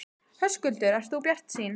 Höskuldur: Ert þú bjartsýn?